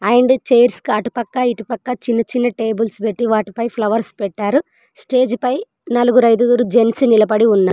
and chairs కి అటు పక్క ఇటు పక్క చిన్న చిన్న టేబుల్స్ పెట్టీ వాటిపై ఫ్లవర్స్ పెట్టారు స్టేజ్ పై నలుగురు ఐదుగురు జెంట్స్ నిలబడి ఉన్నా --